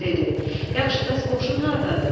Dedi: Yaxşı, bəs qoşun hardadır?